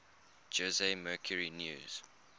jose mercury news